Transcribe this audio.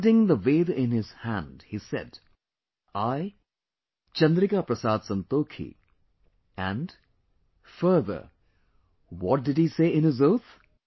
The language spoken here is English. Holding the veda in his hand he said I, Chandrika Prasad Santokhi, and, further what did he say in his oath